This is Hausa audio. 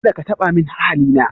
Kada ka taba min ahali na